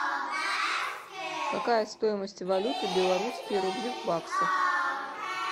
какая стоимость валюты белорусские рубли в баксах